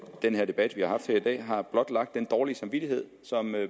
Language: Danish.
den debat vi har haft her i dag har blotlagt den dårlige samvittighed som